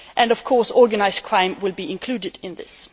Of course, organised crime will be included in this.